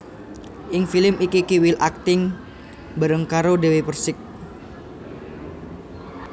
Ing film iki Kiwil akting bareng karo Dewi Perssik